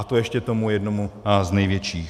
A to ještě tomu jednomu z největších?